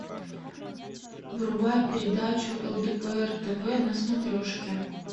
врубай передачу лдпр тв на смотрешке